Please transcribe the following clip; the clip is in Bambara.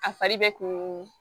A fari bɛ kun